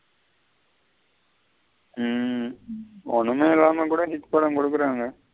ம். ஒன்னுமே இல்லாம கூட hit படம் குடுக்குறாங்க.